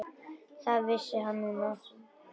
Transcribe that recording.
Það vissi hann núna.